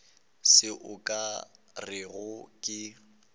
se o ka rego ke